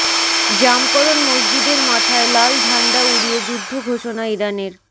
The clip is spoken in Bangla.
জামকরন মসজিদের মাথায় লাল ঝাণ্ডা উড়িয়ে যুদ্ধ ঘোষণা ইরানের